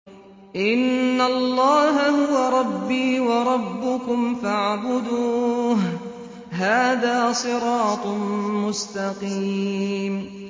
إِنَّ اللَّهَ هُوَ رَبِّي وَرَبُّكُمْ فَاعْبُدُوهُ ۚ هَٰذَا صِرَاطٌ مُّسْتَقِيمٌ